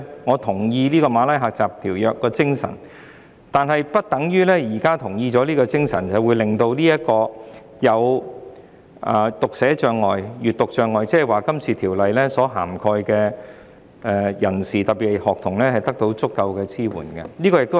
我贊同《馬拉喀什條約》的精神，但不表示可以令有讀寫障礙或閱讀障礙的人士，即《條例草案》所涵蓋的人士，特別是學童，得到足夠的支援。